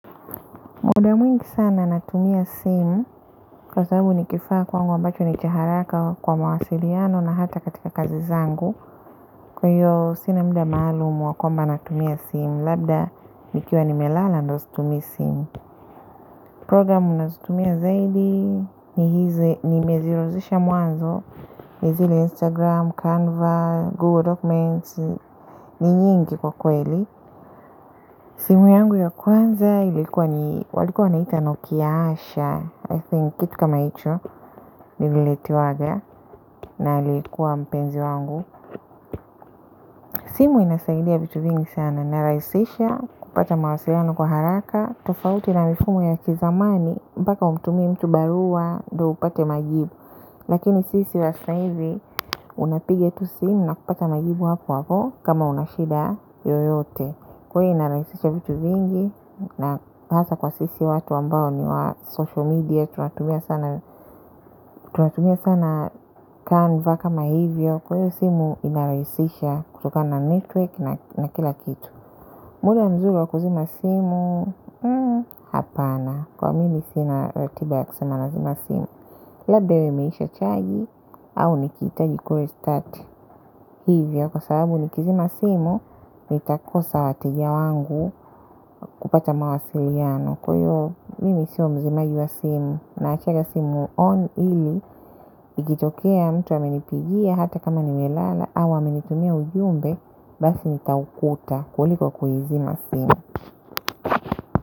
Muda mwingi sana natumia simu, kwa sababu ni kifaa kwangu ambacho ni cha haraka kwa mawasiliano na hata katika kazi zangu, kwa hiyo sina muda maalumu wa kwamba natumia simu, labda nikiwa nimelala ndio situmii simu. Programu ninazotumia zaidi, ni mazirozisha mwanzo, ni zile Instagram, Canva, Google Documents, ni nyingi kwa kweli. Simu yangu ya kwanza ilikuwa ni, walikuwa wanaiita Nokia Asha, I think, kitu kama hicho, ndivyo tulivyokuwa nayo, na ilikuwa mpenzi wangu. Simu inasaidia vitu vingi sana, inarahisisha kupata mawasiliano kwa haraka, tofauti na mifumo ya kizamani, mpaka umtumie mtu barua ndipo upate majibu. Lakini sisi wa hizi unapiga tu simu na kupata majibu papo hapo kama una shida yoyote. Kwa hiyo inarahisisha vitu vingi, na hasa kwa sisi watu ambao ni wa social media. Tunatumia sana Canva, kama hivyo. Kwa hiyo simu inarahisisha kutokana na network na kila kitu. Muda mzuri wa kuzima simu? Hmm, hapana, kwa mimi sina ratiba ya kuzima simu, labda iwe imeisha chaji au nikihitaji kure-start. Hivyo kwa sababu nikizima simu nitakosa wateja wangu kupata mawasiliano, kwa hiyo mimi siyo mzimaji wa simu naachaga simu on ili ikitokea mtu amenipigia hata kama nimelala au amenitumia ujumbe basi nitaukuta kuliko kuizima simu.